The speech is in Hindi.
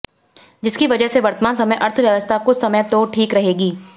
जिसकी वजह से वर्तमान समय अर्थव्यवस्था कुछ समय तो ठीक रहेगी